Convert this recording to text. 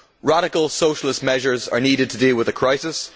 Radical socialist measures are needed to deal with the crisis.